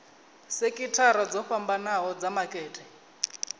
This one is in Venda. sekithara dzo fhambanho dza makete